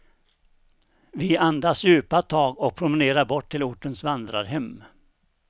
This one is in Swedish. Vi andas djupa tag och promenerar bort till ortens vandrarhem.